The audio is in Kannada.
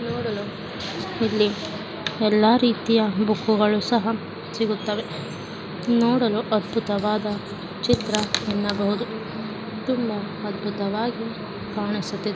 ನೋಡಲು ಇಲ್ಲಿ ಎಲ್ಲ ರೀತಿಯ ಬುಕ್ಗಳು ಸಿಗುತ್ತವೆ ನೋಡಲು ಅದ್ಭುತವಾದ ಚಿತ್ರ ಅನ್ನಬಹುದು ತುಂಬಾ ಅದ್ಭುತವಾಗಿ ಕಾಣುಸುತಿದೆ .